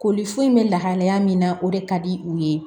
Koli foyi bɛ lahalaya min na o de ka di u ye